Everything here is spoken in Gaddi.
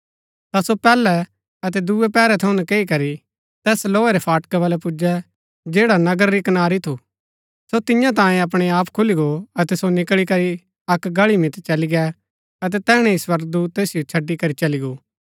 ता सो पैहलै अतै दूये पैहरै थऊँ नकैई करी तैस लोहे रै फाटका बलै पुजै जैडा नगरा री कनारी थु सो तियां तांयें अपणै आप खुली गो अतै सो निकळी करी अक्क गळी मितै चली गै अतै तैहणै ही स्वर्गदूत तैसिओ छड़ी करी चली गो